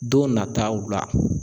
Don nataw la